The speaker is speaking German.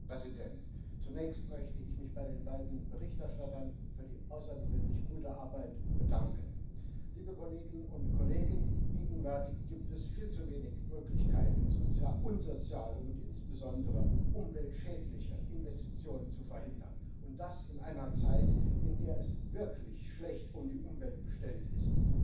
Herr Präsident! Zunächst möchte ich mich bei den beiden Berichterstattern für die außergewöhnlich gute Arbeit bedanken. Liebe Kolleginnen und Kollegen, gegenwärtig gibt es viel zu wenig Möglichkeiten, unsoziale und insbesondere umweltschädliche Investitionen zu verhindern, und das in einer Zeit, in der es wirklich schlecht um die Umwelt bestellt ist.